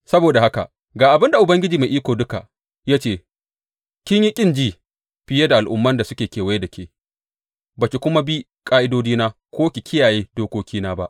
Saboda haka ga abin da Ubangiji Mai Iko Duka ya ce kin yi ƙin ji fiye da al’umman da suke kewaye da ke ba ki kuma bi ƙa’idodina ko ki kiyaye dokokina ba.